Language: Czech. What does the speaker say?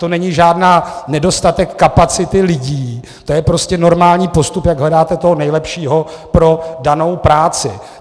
To není žádný nedostatek kapacit lidí, to je prostě normální postup, jak hledáte toho nejlepšího pro danou práci.